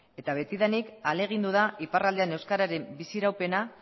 eta betidanik ahalegindu da iparraldean euskararen biziraupena